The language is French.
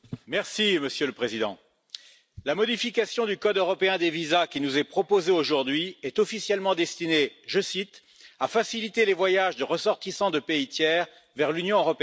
Monsieur le Président, la modification du code européen des visas qui nous est proposée aujourd'hui est officiellement destinée, je cite, à faciliter les voyages de ressortissants de pays tiers vers l'Union européenne.